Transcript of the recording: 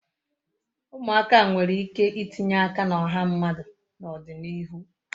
Umuaka nwere ike itinye aka na oha mmadu na odinihu